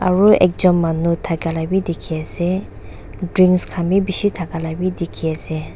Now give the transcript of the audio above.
aro ekjun manu thakala wi dikhi ase drinks khan bi bishi thakala bi dikhi ase.